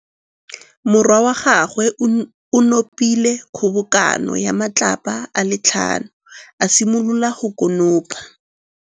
Morwa wa gagwe o nopile kgobokanô ya matlapa a le tlhano, a simolola go konopa.